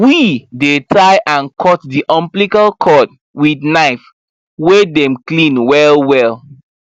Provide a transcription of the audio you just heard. we dey tie and cut the umbilical cord with knife wey dem clean well well